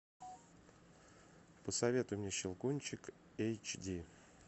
посоветуй мне щелкунчик эйч ди